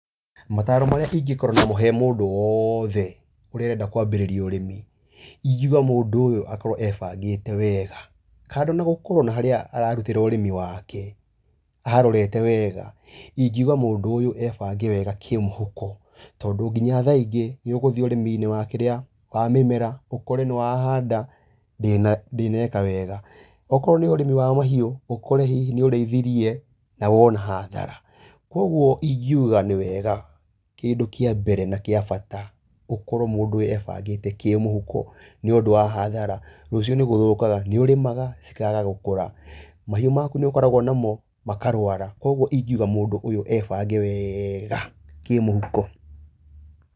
Mataro marĩa ingĩkorwo namo hee mũndũ wothe ũrenda kwambĩrĩria ũrĩmi ingiuga mũndũ ũyũ akorwo ebangĩte wega. Kando na gũkorwo na harĩa ararutĩra ũrĩmi wake aharorete wega ingiuga mũndũ ũyũ ebange wega kĩmũhuko. Tondũ nginya thaa ingĩ nĩugũthiĩ ũrĩmi-inĩ wa mĩmera ũkore nĩwahanda ndĩneka wega. Okorwo nĩ ũrĩmi wa mahiũ ũkore hihi nĩ ũrĩithirie na wona hathara. Koguo ingiuga nĩ wega kĩndũ kia mbere na kĩa bata gũkorwo mũndũ ebangĩte kĩmũhuko nĩũndũ wa hathara. Rũciũ nĩgũthũkaga nĩũrĩmaga cikaga gũkũra, mahiũ maku nĩũkoragwo namo makarwara koguo ingiuga mũndũ ũyũ ebange wega kĩmũhuko.